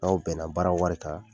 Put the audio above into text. N'aw bɛn na baara wari kan